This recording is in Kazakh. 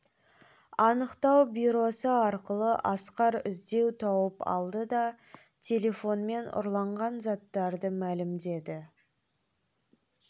анықтау бюросы арқылы асқар іздеу тауып алды да телефонмен ұрланған заттарды мәлімдеді